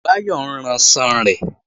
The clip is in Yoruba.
Báyọ̀ ń ranṣan rẹ̀